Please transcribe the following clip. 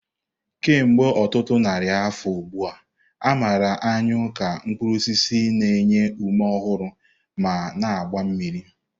Kemgbe ọtụtụ narị afọ ugbu a, a marala anyụ ka mkpuru osisi na-enye ume ọhụrụ ma na-agba mmiri.